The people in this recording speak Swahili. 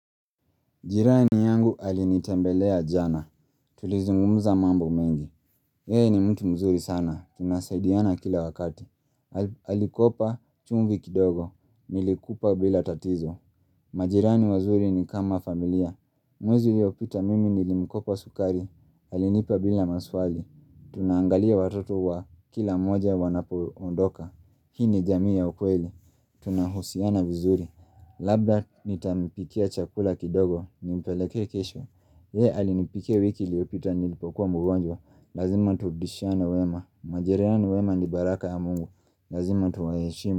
Jirani yangu alinitembelea jana. Tulizungumza mambo mengi. Yeye ni mtu mzuri sana. Tunasaidiana kila wakati. Alikopa chumvi kidogo. Nilikupa bila tatizo. Majirani wazuri ni kama familia. Mwezi uliopita mimi nilimkopo sukari. Alinipa bila maswali. Tunaangalia watoto wa kila mmoja wanapoondoka. Hii ni jamii ya ukweli. Tunahusiana vizuri. Labda nitampikia chakula kidogo Nimpelekee kesho Yeye alinipikia wiki iliopita nilipokuwa mgonjwa Lazima turudishiana wema majirani wema ni baraka ya mungu Lazima tuwayeshimu.